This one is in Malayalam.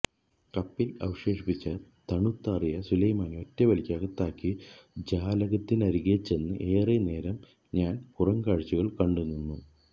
കപ്പിൽ അവശേഷിച്ച തണുത്താറിയ സുലൈമാനി ഒറ്റവലിക്ക് അകത്താക്കി ജാലകത്തിനരികെച്ചെന്ന് ഏറെ നേരം ഞാൻ പുറംകാഴ്ചകൾ കണ്ടുനിന്നു